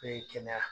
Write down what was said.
Be kɛnɛya